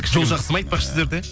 жол жақсы ма айтпақшы сіздерде